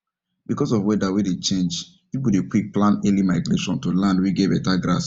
because of weather wen dey change people dey quick plan early migration to land wen get better grass